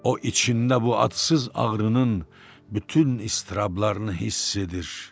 O içində bu adsız ağrının bütün iztirablarını hiss edir.